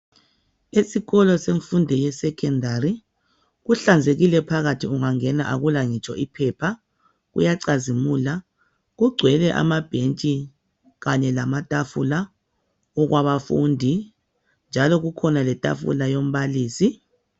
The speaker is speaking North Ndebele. Esikolo semfundo ye Secondary kuhlanzekile phakathi ungangena akula ngitsho iphepha kuyacazimula kugcwele amabhentshi Kanye lamatafula okwabafundi njalo kukhona letafula yombalisi.